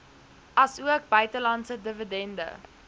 asook buitelandse dividende